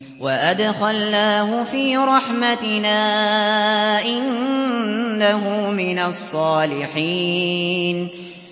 وَأَدْخَلْنَاهُ فِي رَحْمَتِنَا ۖ إِنَّهُ مِنَ الصَّالِحِينَ